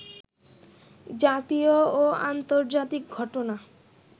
জাতীয় ও আন্তর্জাতিক ঘটনা